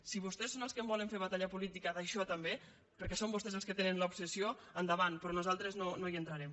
si vostès són els que en volen fer batalla política d’això també perquè són vostès els que tenen l’obsessió endavant però nosaltres no hi entrarem